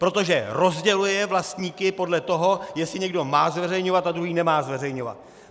Protože rozděluje vlastníky podle toho, jestli někdo má zveřejňovat a druhý nemá zveřejňovat!